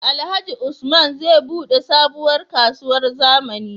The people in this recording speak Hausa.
Alhaji usman zai buɗe sabuwar kasuwar zamani